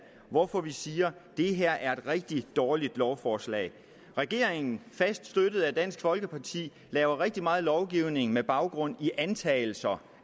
hvorfor vi siger det her er et rigtig dårligt lovforslag regeringen fast støttet af dansk folkeparti laver rigtig meget lovgivning med baggrund i antagelser